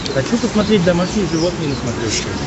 хочу посмотреть домашние животные на смотрешке